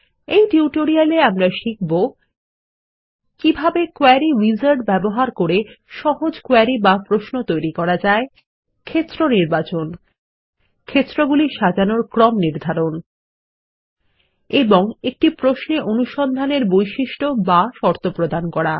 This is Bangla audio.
এই টিউটোরিয়ালে আমরা শিখব কিভাবে কোয়েরি উইজার্ড ব্যবহার করে সহজ কোয়েরি বা প্রশ্ন তৈরী করা যায় ক্ষেত্র নির্বাচন ক্ষেত্রগুলি সাজানোর ক্রম নির্ধারণ এবং একটি প্রশ্নে অনুসন্ধানের বৈশিষ্ট বা শর্ত প্রদান করা